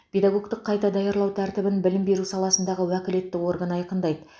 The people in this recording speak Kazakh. педагогтік қайта даярлау тәртібін білім беру саласындағы уәкілетті орган айқындайды